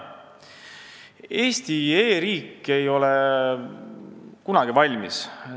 Eesti e-riik ei ole kunagi valmis.